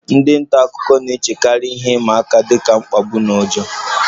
Ndị nta akụkọ na-echekarị ihe ịma aka dị ka mkpagbu na ụjọ